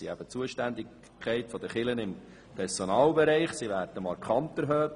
Die Zuständigkeit der Kirchen im Personalbereich wird markant erhöht.